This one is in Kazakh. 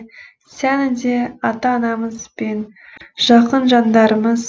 сәні де ата анамыз бен жақын жандарымыз